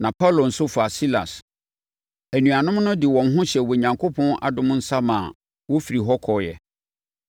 na Paulo nso faa Silas. Anuanom no de wɔn hyɛɛ Onyankopɔn adom nsa maa wɔfirii hɔ kɔeɛ.